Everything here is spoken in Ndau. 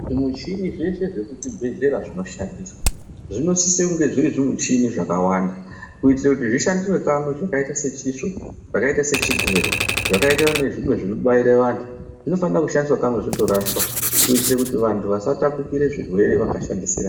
Zvimuchini zveshe zvemuzvibhedhlera zvinosisa kunge zviri zvimuchini zvakawanda kuitira kuti zvishandise kamwe zvakaita zvigero zvakaita sezvinobairwa antu zvinofanika kushandiswa kamwe zvotorsaswa kuitira kuti vantu vasatapudzirana zvirwere vakashandisirana.